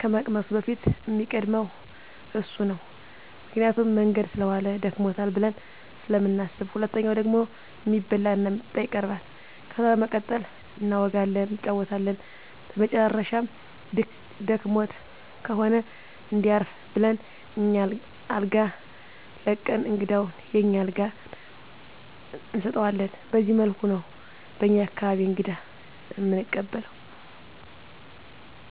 ከመቅመሱ በፊት እሚቀድመው እሱ ነው ምክንያቱም መንገድ ሰለዋለ ደክሞታል ብለን ስለምናስብ። ሁለተኛው ደግሞ እሚበላ እና እሚጠጣ ይቀርባል። ከዛ በመቀጠል እናወጋለን እንጫወታለን በመጨረሻም ደክሞት ከሆነ እንዲያርፍ ብለን አኛ አልጋ ለቀን እንግዳውን የኛን አልጋ እንሰጠዋለን በዚህ መልኩ ነው በኛ አካባቢ እንግዳ እምንቀበለው።